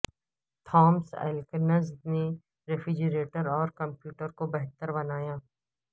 Thomas Elkins نے refrigerator اور commode کو بہتر بنایا